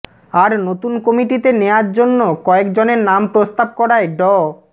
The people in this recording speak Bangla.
আর নতুন কমিটিতে নেয়ার জন্য কয়েকজনের নাম প্রস্তাব করায় ড